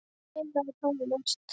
Alparós, spilaðu tónlist.